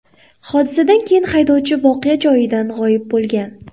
Hodisadan keyin haydovchi voqea joyidan g‘oyib bo‘lgan.